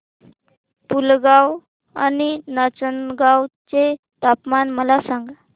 पुलगांव आणि नाचनगांव चे तापमान मला सांग